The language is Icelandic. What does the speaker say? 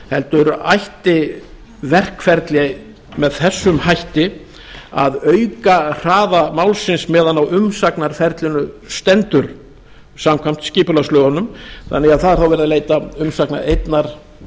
heldur ætti verkferli með þessum hætti að auka hraða málsins meðan á umsagnarferlinu stendur samkvæmt skipulagslögunum þannig að það er þá verið að leita umsagnar